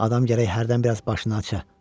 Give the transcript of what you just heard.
Adam gərək hərdən biraz başını aça.